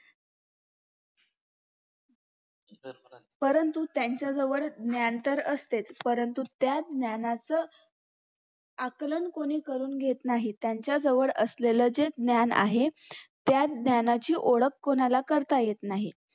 परंतु त्याच्याजवळ ज्ञान तर असतेच परंतु त्या ज्ञानाचं आकलन कोणी करून घेत नाहीत त्याच्याजवळ असलेले जे ज्ञान आहे त्या ज्ञानाची ओळख कुणाला करता येत नाही